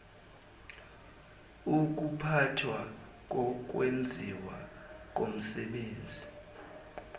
ukuphathwa kokwenziwa komsebenzi